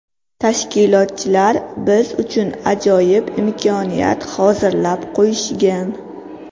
Tashkilotchilar biz uchun ajoyib imkoniyat hozirlab qo‘yishgan.